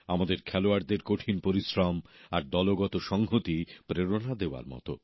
আমাদের খেলোয়াড়দের কঠিন পরিশ্রম আর দলগত সংহতি প্রেরণা দেওয়ার মত